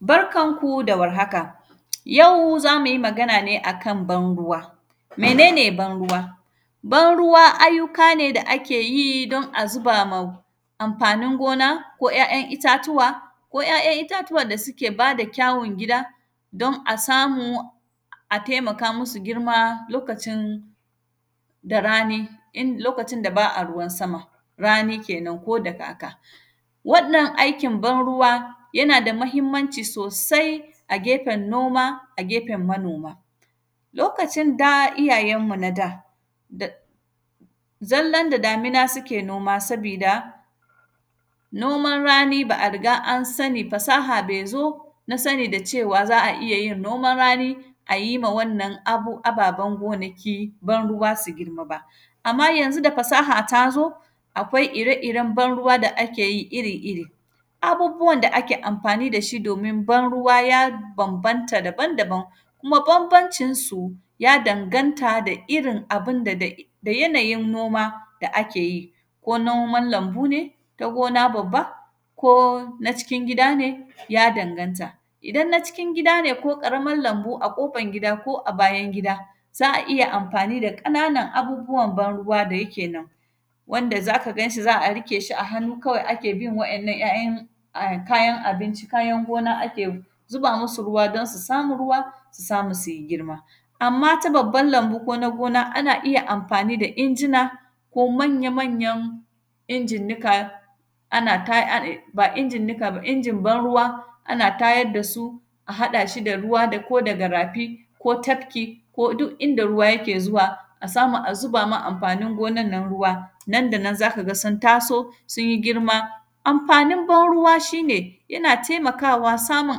Barkan ku da warhaka, yau za mu yi magana ne a kan ban-ruwa. Mene ne ban-ruwa? Ban-ruwa ayyuka ne da ke yi don a ziba ma amfanin gona ko ‘ya’yan itatuwa, ko ‘ya’yan itatuwan da sike ba da kyawun gida, don a samu a temaka musu girma lokacin da rani, in; lokacin da ba a ruwan sama, rani kenan ko da kaka. Waɗannan aikin ban-ruwa, yana da mahimmanci sosai a gefen noma, a gefen manoma. Lokacin da, iyayenmu na da, da; zallan da damina sike noma, sabida noman rani ba a riga an sani, fasaha be zo na sani da cewa za a iya yin noman rani, a yi ma wannan, abu; ababen gonaki ban-ruwa si girma ba. Amma, yanzu da fasaha ta zo, akwai ire-iren ban-ruwa da ake yi iri-iri. Abubuwan da ake amfani da shi domin ban-ruwa, ya bambanta daban-daban. Kuma, bambancinsu, ya danganta da irin abin da da, da yanayin noma da ake yi, ko noman lambu ne na gona babba, ko na cikin gida ne, ya danganta. Idan na cikin gida ne ko ƙaraman lambu a ƙofan gida ko a bayan gida, za a iya amfani da ƙananan abubuwan ban-ruwa da yake nan, wanda za ka gan shi, za a rike shi a hannu kawai ake bin wa’yannan am; kayan abinci, kayan gona ake zuba musu ruwa, don su samu ruwa, su samu su yi girma. Amma, ta baban lambu ko na gona, ana iya amfani da injina, ko manya-manyan injin nika, ana ta, a; e; ba injin nika ba, injin ban-ruwa, ana tayad da su, a haɗa su da ruwa da ko daga rafi ko tafki, ko duk inda ruwa yake zuwa, a samu a zuba ma amfanin gonan nan ruwa, nan da nan za ka ga sun taso, sun yi girma. Amfanin ban-ruwa, shi ne yana temakawa, samun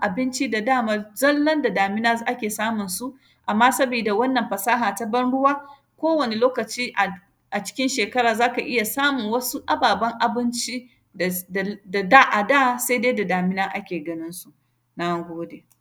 abinci da daman zallan da damina z; ake samun su, amma sabida wannan fasaha ta ban-ruwa, kowane lokaci a; a cikin shekara za ka iya samun wasu ababen abinci, da s; dar; da da, a da sede da damina ake ganin su, na gode.